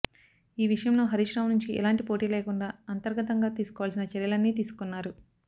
ఈ విషయంలో హరీష్ రావు నుంచి ఎలాంటి పోటీలేకుండా అంతర్గతంగా తీసుకోవాల్సిన చర్యలన్నీ తీసుకున్నారు